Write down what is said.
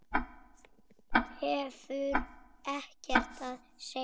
Hefur ekkert að segja.